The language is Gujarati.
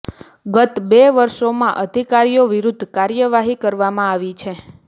ગત બે વર્ષોમાં અધિકારીઓ વિરૂદ્ધ કાર્યવાહી કરવામાં આવી છે